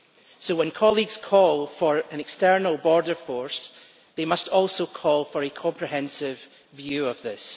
So when colleagues call for an external border force, they must also call for a comprehensive view of this.